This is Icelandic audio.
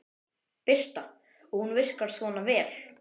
Birta: Og hún virkar svona vel?